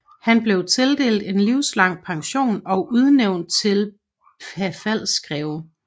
Han blev tildelt en livslang pension og udnævnt til Pfalzgreve